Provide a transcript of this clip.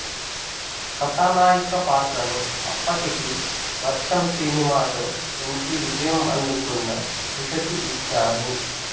కథానాయిక పాత్రను అప్పటికి వర్షం సినిమాతో మంచి విజయం అందుకున్న త్రిషకి ఇచ్చారు